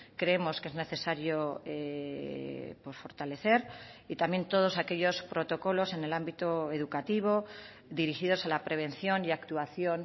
creemos que es necesario fortalecer y también todos aquellos protocolos en el ámbito educativo dirigidos a la prevención y actuación